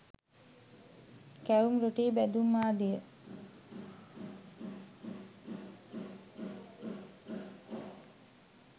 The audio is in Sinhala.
කැවුම් රොටී බැදුම් ආදිය